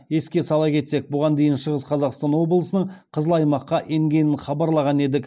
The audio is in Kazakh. еске сала кетсек бұған дейін шығыс қазақстан облысының қызыл аймаққа енгенін хабарлаған едік